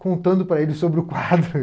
contando para ele sobre o quadro.